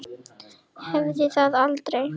Hafði það aldrei.